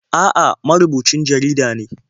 A'a, marubucin jarida ne.